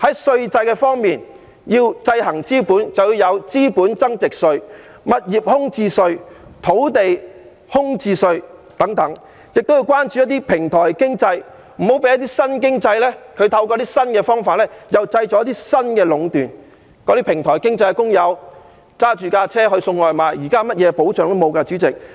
稅制方面要制衡資本，便要有資本增值稅、物業空置稅和土地空置稅等，我們亦要關注一些平台經濟，別讓新經濟透過新方法又製造出新的壟斷，主席，這些平台經濟的工友開車送外賣，他們現在甚麼保障也沒有。